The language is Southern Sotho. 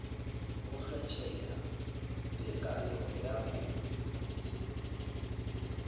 ho kgetheha tekanyo ya ho